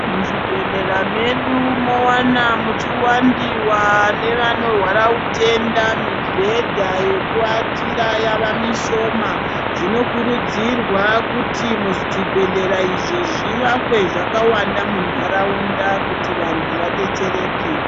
Mu zvibhehlera mwedu mowana muchi wandiwa ne vanorwara utenda mibhedha yeku watira yava mishoma zvino kurudzirwa kuti mu zvibhedhlera izvi zvi vakwe zvakawanda mundaraunda kuti vantu vadetsereke.